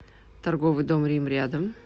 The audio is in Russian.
торговый дом рим рядом